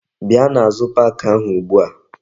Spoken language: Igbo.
Bia n'azu pak ahu ugbu a!